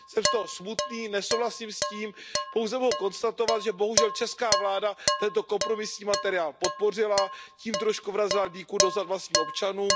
Jsem z toho smutný, nesouhlasím s tím, pouze mohu konstatovat, že bohužel česká vláda tento kompromisní materiál podpořila, tím trochu vrazila dýku do zad vlastním občanům.